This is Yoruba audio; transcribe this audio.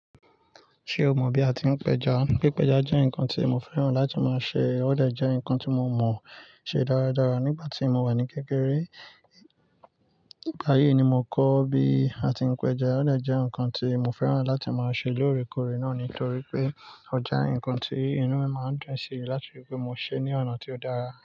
Ṣe o mọ bi a ti ń pẹja? Pipẹja jẹ́ ǹkan tí mo fẹ́ràn láti máa ṣe, ọ̀ jẹ ǹkan tí mo mọ ṣe dáradára nígbà tí mo wà ní kékeré. Nigba yii ni mo kọ́ bí a ti ń pẹja. Ò jẹ́ ǹkan tí mo fẹ́ràn láti máa ṣe lóòrèkóòrè náà nítorí pé ọje ǹkan tí inú mi máa ń dún si láti rí pé mo ṣe ní ọ̀nà tí ó dára.